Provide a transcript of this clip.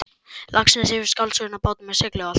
Laxness fyrir skáldsöguna Bátur með segli og allt.